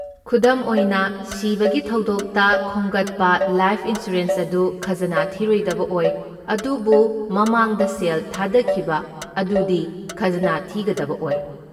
ꯈꯨꯗꯝ ꯑꯣꯏꯅ, ꯁꯤꯕꯒꯤ ꯊꯧꯗꯣꯛꯇ ꯈꯣꯝꯒꯠꯄ ꯂꯥꯏꯐ ꯏꯟꯁꯨꯔꯦꯟꯁ ꯑꯗꯨ ꯈꯖꯅꯥ ꯊꯤꯔꯣꯏꯗꯕ ꯑꯣꯏ, ꯑꯗꯨꯕꯨ ꯃꯃꯥꯡꯗ ꯁꯦꯜ ꯊꯥꯗꯈꯤꯕ ꯑꯗꯨꯗꯤ ꯈꯖꯅꯥ ꯊꯤꯒꯗꯕ ꯑꯣꯏ꯫